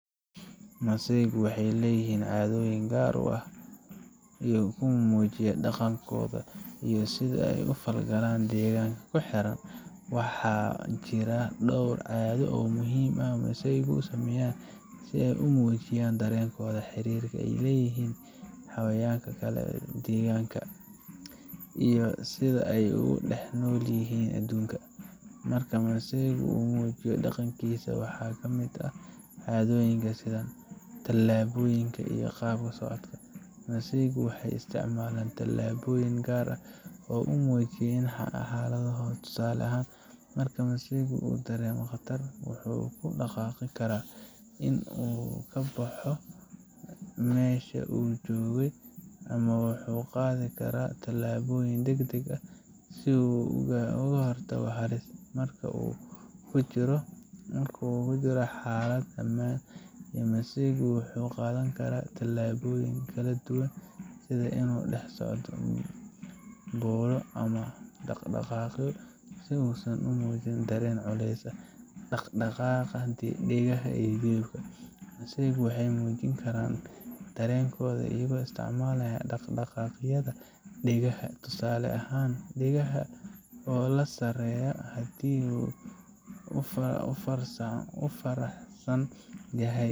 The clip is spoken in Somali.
Masaygu waxay leeyihiin caadooyin gaar ah oo ay ku muujinayaan dhaqankooda iyo sida ay u falgalaan deegaanka ku xeeran. Waxaa jira dhowr caado oo muhiim ah oo masaygu sameeyaan si ay u muujiyaan dareenkooda, xiriirka ay la leeyihiin xayawaanka kale ama deegaanka, iyo sida ay ugu dhex nool yihiin adduunka. Marka masaygu uu muujinayo dhaqankiisa, waxaa ka mid ah caadooyinka sida: Talaabooyinka iyo qaab socodka Masaygu waxay isticmaalaan talaabooyin gaar ah si ay u muujiyaan xaaladahoda. Tusaale ahaan, marka masaygu uu dareemo khatar, wuxuu ku dhaqaaqi karaa in uu ka baxo meesha uu joogay, ama wuxuu qaadi karaa tallaabooyin degdeg ah si uu uga hortago halis. Marka uu ku jiro xaalad ammaan ah, masaygu wuxuu qaadan karaa talaabooyin kala duwan sida inuu dhex socdo, boodo, ama dhaqaaqo si uusan u muujin dareen culeys. Dhaqdhaqaaqa dhegaha iyo jilbaha Masaygu waxay muujin karaan dareenkooda iyagoo isticmaalaya dhaqdhaqaaqyada dhegaha, tusaale ahaan, dhegaha oo ka sarreeya haddii uu faraxsan yahay.